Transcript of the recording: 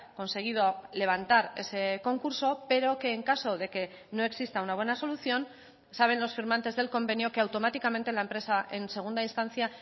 conseguido levantar ese concurso pero que en caso de que no exista una buena solución saben los firmantes del convenio que automáticamente la empresa en segunda instancia